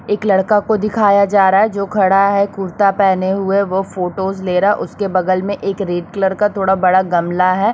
एक लड़का को दिखाया जा रहा है जो खड़ा है कुर्ता पहने हुए वो फ़ोटोस लेरा है उसके बगल में एक रेड कलर का थोडा बड़ा गमला है।